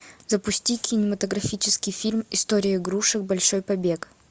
запусти кинематографический фильм история игрушек большой побег